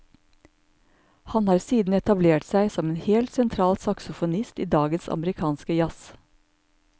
Han har siden etablert seg som en helt sentral saxofonist i dagens amerikanske jazz.